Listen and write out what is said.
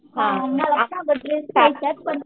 हा मागच्या बादलीत सायशात पण